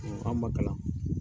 an man kalan.